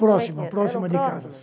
Próxima, próxima de casa. Eram próximas